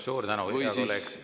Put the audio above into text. Suur tänu, hea kolleeg!